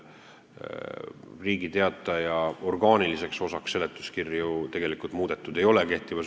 Riigi Teataja orgaaniliseks osaks seletuskirju kehtivas seaduses tegelikult muudetud ei ole.